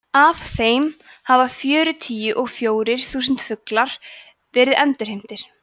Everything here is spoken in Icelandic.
af þeim hafa fjörutíu og fjórir þúsund fuglar verið endurheimtir